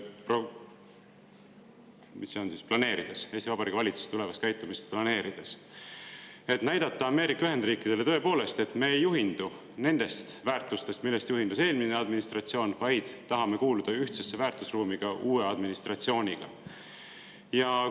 Eesti Vabariigi valitsuse tulevast käitumist planeerida, et näidata Ameerika Ühendriikidele: tõepoolest, me ei juhindu nendest väärtustest, millest juhindus eelmine administratsioon, vaid tahame kuuluda ühtsesse väärtusruumi ka uue administratsiooniga?